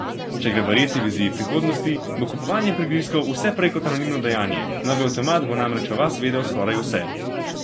Če gre verjeti viziji prihodnosti, bo kupovanje prigrizkov vse prej kot anonimno dejanje, novi avtomat bo namreč o vas vedel skoraj vse.